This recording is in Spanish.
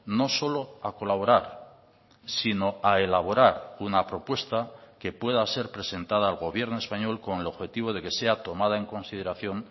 no solo a colaborar sino a elaborar una propuesta que pueda ser presentada al gobierno español con el objetivo de que sea tomada en consideración